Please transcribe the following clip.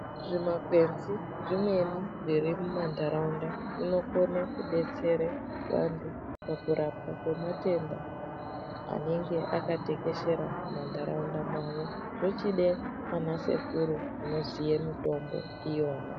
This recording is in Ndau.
Zvimakwenzi zvimweni zviri mumantaraunda zvinokone kudetsere vantu pakurapwe kwematenda anenge akatekeshera mumantaraunda mavo zvochide ana sekuru anoziye mitombo iyona.